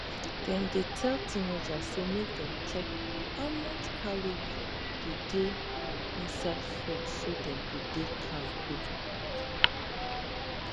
dem dey tell teenagers say make dem check how much calorie dey dey inside food so dem go dey kampe